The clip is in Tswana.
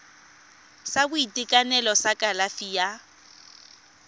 sa boitekanelo sa kalafi ya